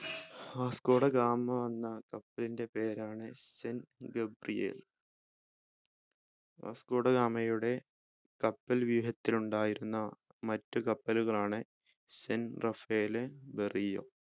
Vasco da Gama വന്ന കപ്പലിൻ്റെ പേരാണ് Saint Gabriel വാസ്‌കോ ഡ ഗാമയുടെ കപ്പൽ വ്യൂഹത്തിലുണ്ടായിരുന്ന മറ്റു കപ്പലുകളാണ് Saint Rafael Berrio